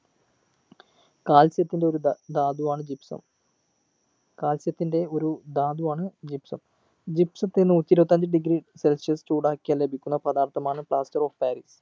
calcium ത്തിൻ്റെ ഒരു ധ ധാതു ആണ് gypsum calcium ത്തിൻ്റെ ഒരു ധാതു ആണ് gypsum gypsum ത്തിന് നൂറ്റി ഇരുപത്തി അഞ്ച് degree celsius ചൂടാക്കിയാൽ ലഭിക്കുന്ന പദാർത്ഥമാണ് plaster of paris